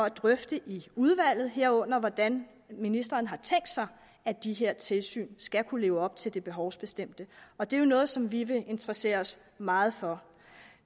at drøfte i udvalget herunder hvordan ministeren har tænkt sig at de her tilsyn skal kunne leve op til det behovsbestemte og det er noget som vi vil interessere os meget for